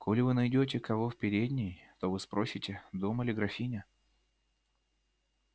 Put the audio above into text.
коли вы найдёте кого в передней то вы спросите дома ли графиня